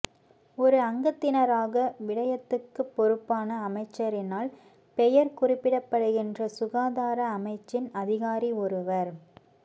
ஓர் அங்கத்தினராக விடயத்துக்குப் பொறுப்பான அமைச்சரினால் பெயர்க் குறிப்பிடப்படுகின்ற சுகாதார அமைச்சின் அதிகாரி ஒருவர்